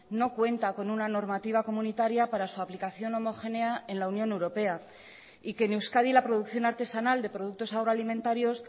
no cuenta con una normativa comunitaria para su aplicación homogénea en la unión europea y que en euskadi la producción artesanal de productos agroalimentarios